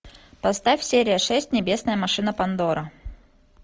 поставь серия шесть небесная машина пандора